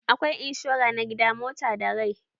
Akwai inshora na gida, mota da rai.